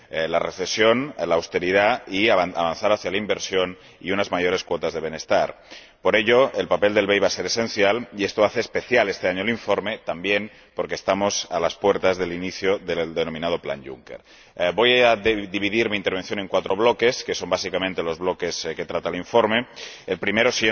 la recesión y la austeridad y de avanzar hacia la inversión y unas mayores cuotas de bienestar. Por ello, el papel del BEI va a ser esencial y esto hace especial este año el informe, también porque estamos a las puertas del inicio del denominado Plan Juncker. Voy a dividir mi intervención en cuatro bloques, que son básicamente los bloques que trata el informe, siendo el primero